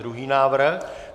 Druhý návrh?